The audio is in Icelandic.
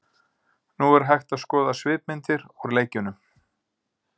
Nú er hægt að skoða svipmyndir úr leikjunum.